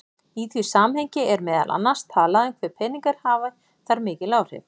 Í því samhengi er meðal annars talað um hve peningar hafi þar mikil áhrif.